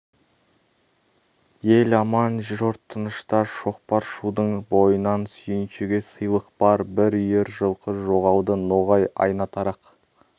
ел аман жұрт тынышта шоқпар шудың бойынан сүйіншіге сыйлық бар бір үйір жылқы жоғалды ноғай айна-тарақ